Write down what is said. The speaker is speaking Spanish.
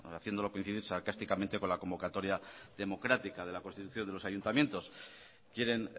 haciéndolo coincidir sarcásticamente con la convocatoria democrática de la constitución de los ayuntamientos quieren